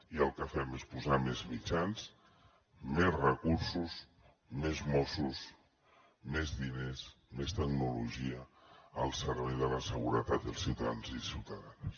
i el que fem és posar més mitjans més recursos més mossos més diners més tecnologia al servei de la seguretat dels ciutadans i ciutadanes